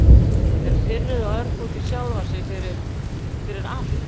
Er pirruð og örg út í sjálfa sig fyrir- fyrir allt.